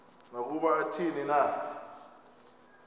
nokuba athini na